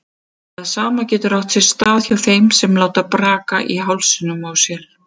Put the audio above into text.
Það sama getur átt sér stað hjá þeim sem láta braka í hálsinum á sér.